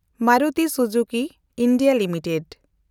ᱢᱮᱱᱰᱩᱴᱤ Suzuki India limited